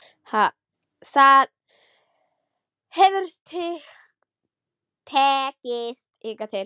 Það hefur tekist hingað til.